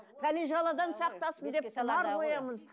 пәле жаладан сақтасын деп тұмар қоямыз